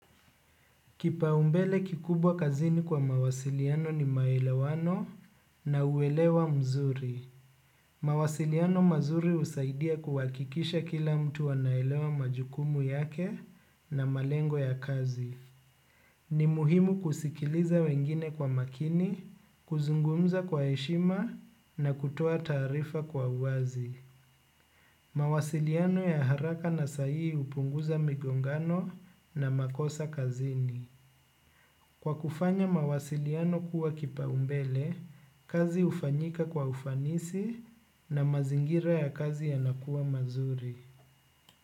Kipaumbele kikubwa kazini kwa mawasiliano ni maelewano na uelewa mzuri. Mawasiliano mazuri usaidia kuwakikisha kila mtu wanaelewa majukumu yake na malengo ya kazi. Ni muhimu kusikiliza wengine kwa makini, kuzungumza kwa eshima na kutoa tarifa kwa uazi. Mawasiliano ya haraka na sayi upunguza migongano na makosa kazini. Kwa kufanya mawasiliano kuwa kipa umbele, kazi ufanyika kwa ufanisi na mazingira ya kazi yanakuwa mazuri.